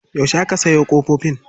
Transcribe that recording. Yaushe aka sayo ƙofofin.